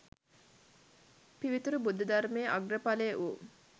පිවිතුරු බුද්ධ ධර්මයේ අග්‍ර ඵලය වූ